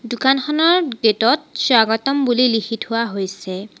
দোকানখনৰ গেটত স্বাগতম বুলি লিখি থোৱা হৈছে।